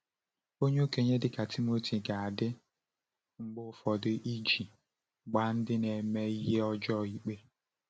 Onye okenye, dịka Timoteo, ga-adị mgbe ụfọdụ iji gbaa ndị na-eme ihe ọjọọ ikpe.